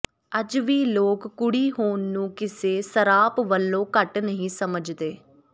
ਅੱਜ ਵੀ ਲੋਕ ਕੁੜੀ ਹੋਣ ਨੂੰ ਕਿਸੇ ਸਰਾਪ ਵਲੋਂ ਘੱਟ ਨਹੀਂ ਸੱਮਝਦੇ